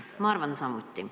Ma arvan samuti.